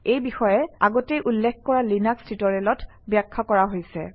এই বিষয়ে আগতে উল্লেখ কৰা লিনাক্স টিউটৰিয়েলত ব্যাখ্যা কৰা হৈছে